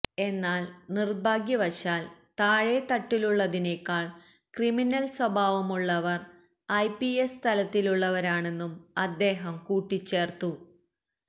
എന്നാല് നിര്ഭാഗ്യവശാല് താഴെ തട്ടിലുള്ളതിനേക്കാള് ക്രിമിനല് സ്വഭാവമുള്ളവര് ഐപിഎസ് തലത്തിലുള്ളവരാണെന്നും അദ്ദേഹം കൂട്ടിച്ചേര്ത്തു